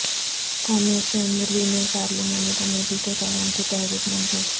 قومی اسمبلی میں پارلیمانی کمیٹی کے قیام کی تحریک منظور